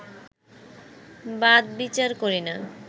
বাদ-বিচার করিনা